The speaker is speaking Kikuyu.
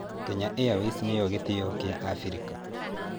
Kenya Airways nĩ yo gĩtĩo kĩa Abirika.